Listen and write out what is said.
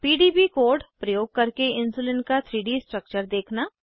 PDB code प्रयोग करके insulin का 3डी स्ट्रक्चर देखना